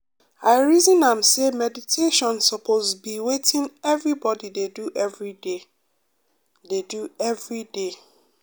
i reason am say meditation suppose be wetin everybody dey do everyday. dey do everyday.